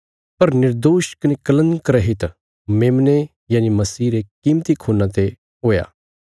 पर निर्दोष कने कलंक रहित मेमने यनि मसीह रे कीमती खून्ना ते हुई